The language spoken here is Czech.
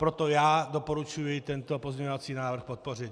Proto já doporučuji tento pozměňovací návrh podpořit.